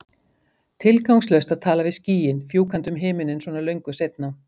Tilgangslaust að tala við skýin, fjúkandi um himininn svona löngu seinna.